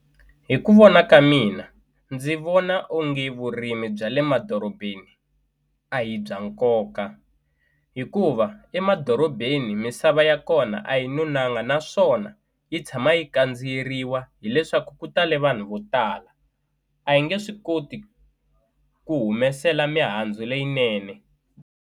Hi ku vona ka mina ndzi vona onge vurimi bya le madorobeni a hi bya nkoka hikuva emadorobeni misava ya kona a yi nonanga naswona yi tshama yi kandziyeriwa hileswaku ku tale vanhu vo tala a yi nge swi koti ku humesela mihandzu leyinene.